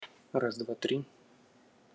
раз-два-три